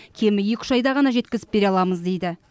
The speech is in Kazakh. кемі екі үш айда ғана жеткізіп бере аламыз дейді